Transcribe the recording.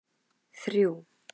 þrjú